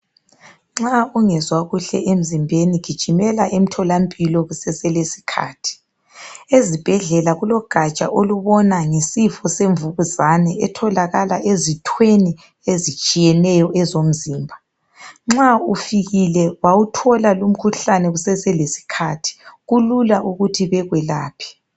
Nxa ungezwa kuhle emzimbeni gijimela emtholampilo kuseselesikhathi. Esibhedlela kulogaja olubona ngesifo semvukuzane etholakala ezithweni ezitshiyeneyo ezomzimba. Nxa ufikile bawuthola lumkhuhlane kuseselesikhathi kulula ukuthi bekwelaphe.